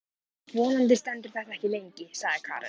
Vonandi stendur þetta ekki lengi, sagði Karen.